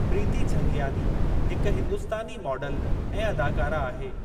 प्रीति झंगियानी हिकु हिंदुस्तानी माडलु ऐं अदाकारा आहे।